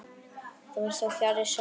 Það var þó fjarri sanni.